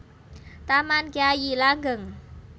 Taman Kyai Langgeng